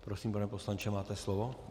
Prosím, pane poslanče, máte slovo.